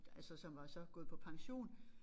Altså som var så gået på pension